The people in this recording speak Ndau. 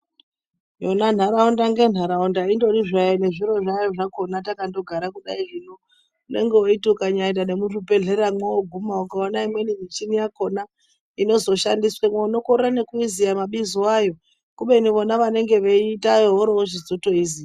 Yona nharaunda ngenharaunda indori zvayo nezviro zvayo zvakona takandogara kudai hino. Unenge weiti ukanyaaenda nemuzvibhedhleramwo wooguma ukaona imweni michini yakona inozoshandiswemo unokorera nekuiziya mabizo ayo. Kubeni vona vanenge vachiitayo voorochizotoiziya.